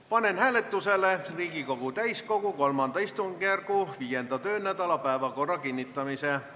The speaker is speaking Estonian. Panen hääletusele Riigikogu täiskogu III istungjärgu 5. töönädala päevakorra kinnitamise.